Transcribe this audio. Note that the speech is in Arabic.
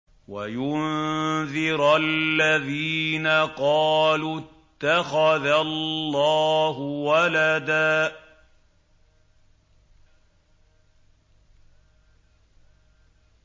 وَيُنذِرَ الَّذِينَ قَالُوا اتَّخَذَ اللَّهُ وَلَدًا